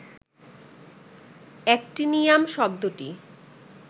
actinium শব্দটি